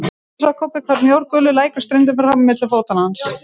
Skyndilega sá Kobbi hvar mjór gulur lækur streymdi fram milli fóta hans.